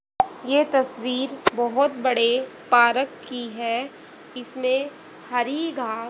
ये तस्वीर बहौत बड़े पारक की है इसमें हरि घास--